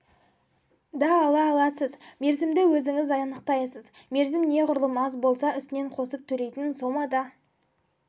да ала аласыз мерзімді өзіңіз анықтайсыз мерзім неғұрлым аз болса үстінен қосып төлейтін сома да